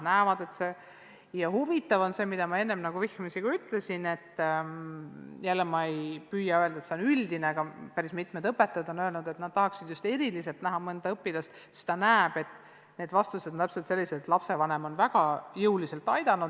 Ja huvitav on see, millele ma enne ka vihjasin – ma ei taha öelda, et see on üldine –, et päris mitmed õpetajad on öelnud, et nad tahaksid mõnda õpilast näha just seepärast, et lapse vastused tunduvad olevat täpselt sellised, nagu oleks lapsevanem teda väga jõuliselt aidanud.